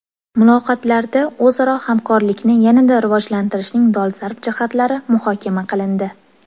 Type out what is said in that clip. Muloqotlarda o‘zaro hamkorlikni yanada rivojlantirishning dolzarb jihatlari muhokama qilindi.